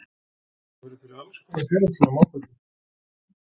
Hann verður fyrir alls konar félagslegum áföllum.